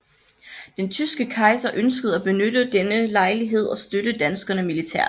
Den tyske kejser ønskede at benytte denne lejlighed og støtte danskerne militært